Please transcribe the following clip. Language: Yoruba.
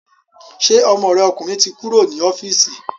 Ṣé ọmọ rẹ ọkùnrin ti kúrò ní ọ́fíìsì